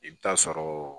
I bɛ taa sɔrɔ